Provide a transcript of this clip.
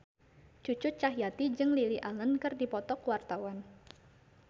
Cucu Cahyati jeung Lily Allen keur dipoto ku wartawan